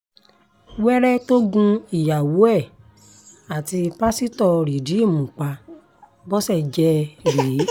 wẹ́rẹ́ tó gun ìyàwó ẹ̀ àti pásítọ̀ rìdíìmù pa bó ṣe jẹ́ rèé